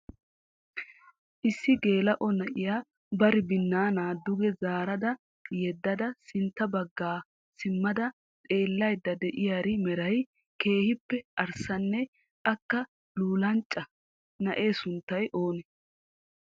Issi gela"o na'iya bari binaana duge zaarada yedaada sintta bagga simmada xeelaydda de'iyaari meray keehippe arissanne akka luulanchcha. Na'ee sunttay oonee?